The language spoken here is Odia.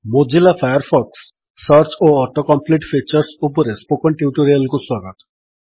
ମୋଜିଲା ଫାୟାରଫକ୍ସ - ସର୍ଚ୍ଚ ଓ ଅଟୋ କମ୍ପ୍ଲିଟ୍ ଫିଚର୍ସ ଉପରେ ସ୍ପୋକେନ୍ ଟ୍ୟୁଟୋରିଆଲକୁ ସ୍ୱାଗତ